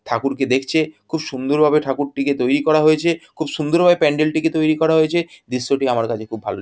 ঠাকুরকে দেখছে খুব সুন্দর ভাবে ঠাকুর টিকে তৈরী করা হয়েছে খুব সুন্দর ভাবে প্যান্ডেল টিকে তৈরী করা হয়েছে দৃশ্যটি আমার কাছে খুব ভালো।